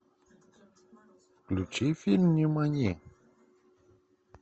включи фильм нимани